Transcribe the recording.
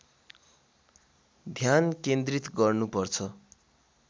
ध्यान केन्द्रित गर्नुपर्छ